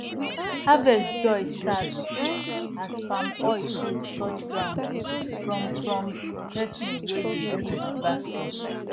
harvest joy start as palm oil fruit touch ground from from person wey dey pick basket